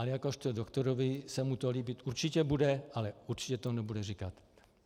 A jakožto doktorovi se mu to líbit určitě bude, ale určitě to nebude říkat.